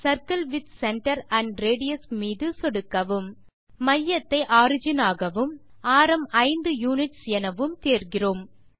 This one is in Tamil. circle with centre and radius மீது சொடுக்கவும் நாம் மையத்தை ஒரிஜின் ஆகவும் ஆரம் 5 யுனிட்ஸ் எனவும் தேர்கிறோம்